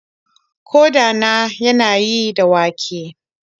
Ƙoda na yanayi da wake.